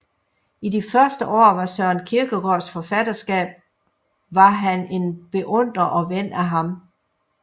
I de første år af Søren Kierkegaards forfatterskab var han en beundrer og ven af ham